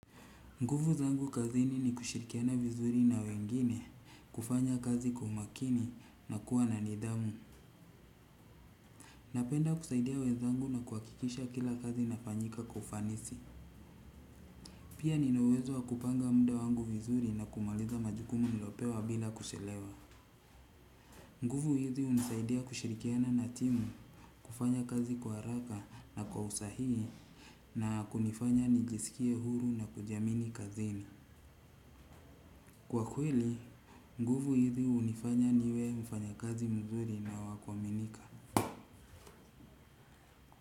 Nguvu zangu kazini ni kushirikiana vizuri na wengine, kufanya kazi kwa umakini na kuwa na nidhamu. Napenda kusaidia wenzangu na kuhakikisha kila kazi inafanyika kwa ufanisi. Pia nina uwezo wa kupanga muda wangu vizuri na kumaliza majukumu nilopewa bila kuchelewa. Nguvu hizi hunisaidia kushirikiana na timu, kufanya kazi kwa haraka na kwa usahihi na kunifanya nijisikie huru na kujiamini kazini. Kwa kweli, nguvu hizi hunifanya niwe mfanyakazi mzuri na wa kuaminika.